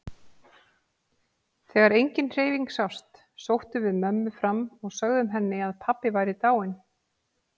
Þegar engin hreyfing sást sóttum við mömmu fram og sögðum henni að pabbi væri dáinn.